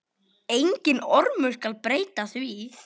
Enginn ormur skal breyta því.